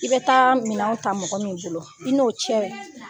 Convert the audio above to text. I bɛ taa minɛnw ta mɔgɔ min bolo i n'o cɛ